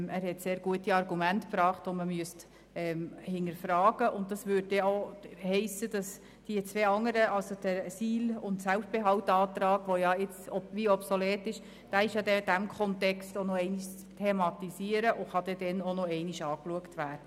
Er hat sehr gute Argumente gebracht, die man hinterfragen sollte, und das hiesse, dass auch der SIL- und der Selbstbehaltsantrag, die jetzt obsolet sind, in diesem Kontext noch einmal thematisiert würden.